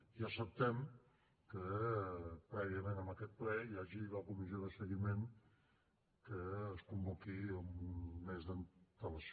i acceptem que prèviament en aquest ple hi hagi la comissió de seguiment que es convoqui amb un mes d’antelació